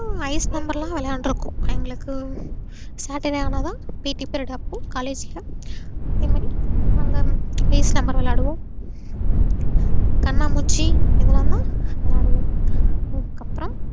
ice number ல விளையான்றுக்கோம் எங்களுக்கு saturday ஆனாதா PET period அப்போ collage ல அதேமாறி நாங்க ice number விளையாடுவோம். கண்ணாம்பூச்சி இதுலான்தா விளையாடுவோம் அதுக்கப்றோம்.